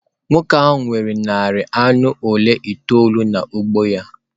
Nwoke ahụ nwere narị anụ ụlọ itoolu n’ugbo ya.